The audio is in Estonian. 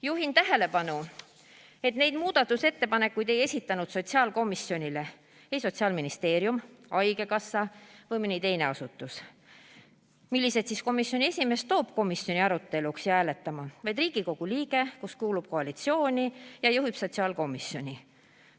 Juhin tähelepanu, et neid muudatusettepanekuid ei esitanud sotsiaalkomisjonile ei Sotsiaalministeerium, haigekassa ega mõni teine asutus, millised siis komisjoni esimees toob komisjoni aruteluks ja hääletamiseks, vaid Riigikogu liige, kes kuulub koalitsiooni ja juhib sotsiaalkomisjoni.